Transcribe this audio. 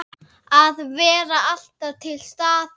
Að vera alltaf til staðar.